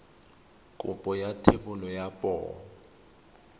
kopo ya thebolo ya poo